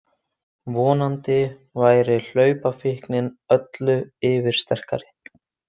Vonandi væri hlaupafíknin öllu yfirsterkari.